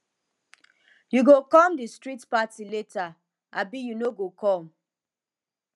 you go come di street party later abi you no go come